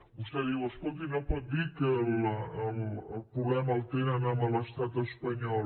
vostè diu escolti no pot dir que el problema el tenen amb l’estat espanyol